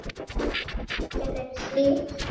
Eða leggja fyrir sig söng?